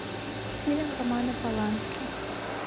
фильм романа полански